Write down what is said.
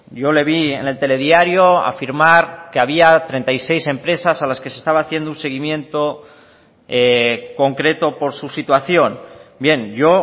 yo le vi en el telediario afirmar que había treinta y seis empresas a las que se estaba haciendo un seguimiento concreto por su situación bien yo